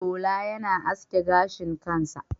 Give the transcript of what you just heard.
Shola yana aske gashin kansa.